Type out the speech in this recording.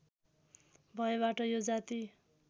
भएबाट यो जाति